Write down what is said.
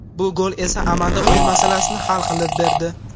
Bu gol esa amalda o‘yin masalasini hal qilib berdi.